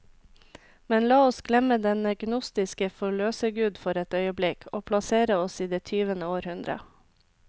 Men la oss glemme denne gnostiske forløsergud for et øyeblikk, og plassere oss i det tyvende århundre.